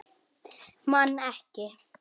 Man ekki.